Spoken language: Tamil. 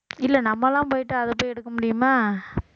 இல்ல நம்ம எல்லாம் போயிட்டு அதைப் போய் எடுக்க முடியுமா